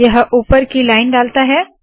यह ऊपर की लाइन डालता है